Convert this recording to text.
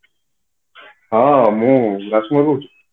ହଁ ମୁଁ ରାଜକୁମାର କହୁଛି